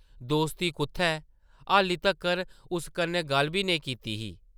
‘‘दोस्ती कुʼत्थै? हाल्ली तक्कर उस कन्नै गल्ल बी नेईं कीती दी ।